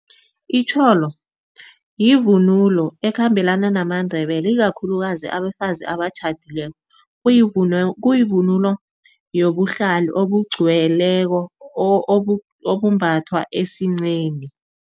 Itjholo yivunulo ekhambelana namaNdebele ikakhulukazi abafazi abatjhadileko kuyivunulo yobuhlalo obugcweleko, obumbathwa esinceni.